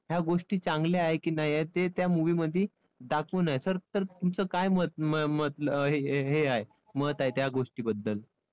ह्या गोष्टी चांगल्या आहे की नाही आहेत ते त्या movie मध्ये दाखवून आहे sir तर तुमचं काय मत हे आहे मत आहे त्या गोष्टीबद्दल?